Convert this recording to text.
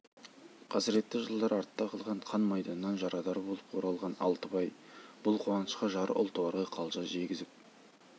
қасіретті жылдар артта қалған қан майданнан жарадар болып оралған алтыбай бұл қуанышқа жары ұлтуарға қалжа жегізіп